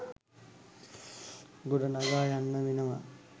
ගොඩනගා ගන්න වෙනවා